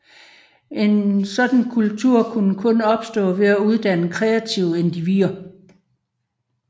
En sådan kultur kunne kun opstå ved at uddanne kreative individer